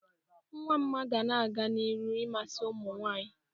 Ngwa mma ga na-aga n'iru ịmasị ụmụnwaanyị